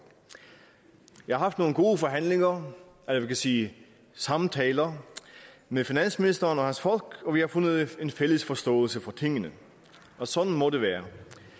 jeg har haft nogle gode forhandlinger eller vi kan sige samtaler med finansministeren og hans folk og vi har fundet en fælles forståelse for tingene og sådan må det være